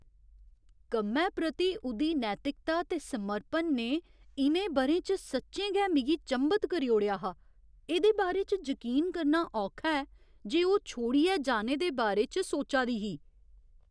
कम्मै प्रति उ'दी नैतिकता ते समर्पण ने इ'नें ब'रें च सच्चें गै मिगी चंभत करी ओड़ेआ हा, एह्दे बारे च जकीन करना औखा ऐ जे ओह् छोड़ियै जाने दे बारे च सोचा दी ही।